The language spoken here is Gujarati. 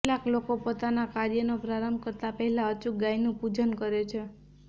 કેટલાક લોકો પોતાના કાર્યનો પ્રારંભ કરતા પહેલા અચૂક ગાયનું પૂજન કરે છે